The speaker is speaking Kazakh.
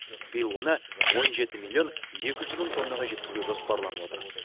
биыл оны он жеті миллион екі жүз мың тоннаға жеткізу жоспарланып отыр